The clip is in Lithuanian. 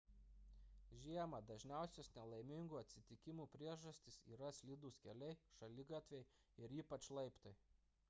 žiemą dažniausios nelaimingų atsitikimų priežastys yra slidūs keliai šaligatviai ir ypač laiptai